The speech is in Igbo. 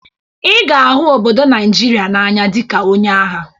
Ị ga-ahụ obodo Naịjịrịa n'anya dịka onye agha!